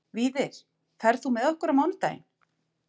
Víðir, ferð þú með okkur á mánudaginn?